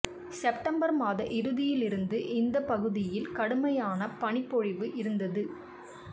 September மாத இறுதியிலிருந்து இந்தப் பகுதியில் கடுமையான பனிப்பொழிவு இருந்தது